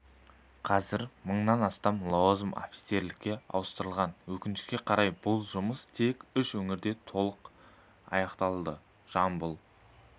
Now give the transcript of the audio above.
қазір мыңнан астам лауазым офицерлікке ауыстырылған өкінішке қарай бұл жұмыс тек үш өңірде толық аяқталды жамбыл